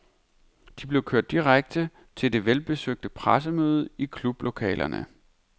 De blev kørt direkte til det velbesøgte pressemøde i klublokalerne.